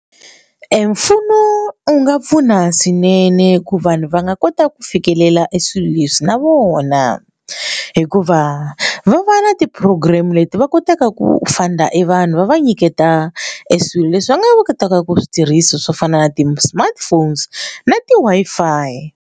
Emfumo wu nga pfuna swinene ku vanhu va nga kotaka ku fikelela e swilo leswi na vona hikuva va va na ti program leti va kotaka ku funder e vanhu va va nyiketa e swilo leswi va nga kotaka ku switirhisiwa swo fana na ti smartphones na ti-Wi-Fi.